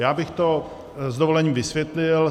Já bych to s dovolením vysvětlil.